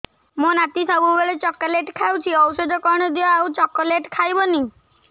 ମୋ ନାତି ସବୁବେଳେ ଚକଲେଟ ଖାଉଛି ଔଷଧ କଣ ଦିଅ ଆଉ ଚକଲେଟ ଖାଇବନି